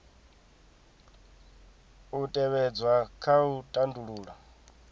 u tevhedzwa kha u tandulula